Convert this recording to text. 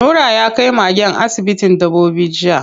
Nura ya kai magen asibitin dabbobi jiya.